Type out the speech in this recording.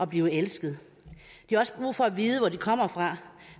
blive elsket de har også brug for at vide hvor de kommer fra